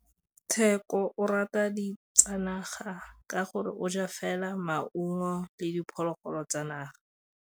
Tshekô o rata ditsanaga ka gore o ja fela maungo le diphologolo tsa naga.